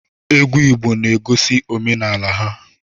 Egwu Igbo na-egosi omenala ha.